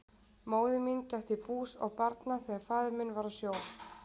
Móðir mín gætti bús og barna þegar faðir minn var á sjó.